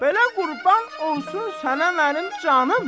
belə qurban olsun sənə mənim canım!